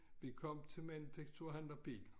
Vi kom til Manufekturhandler Pihl